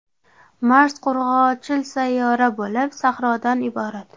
Mars qurg‘oqchil sayyora bo‘lib, sahrodan iborat.